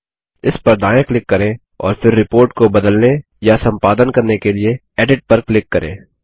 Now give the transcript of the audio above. इस पर दायाँ क्लिक करें और फिर रिपोर्ट को बदलने या सम्पादन करने के लिए एडिट पर क्लिक करें